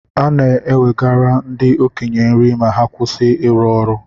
E na-nwegara ndi okenye nri ma ha kwesi iri ọrụ